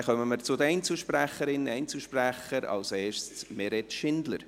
Dann kommen wir zu den Einzelsprecherinnen und -sprechern, als erste Meret Schindler.